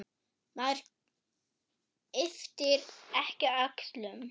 Maður ypptir ekki öxlum.